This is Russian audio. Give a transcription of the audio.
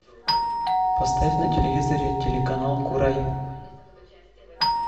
поставь на телевизоре телеканал курай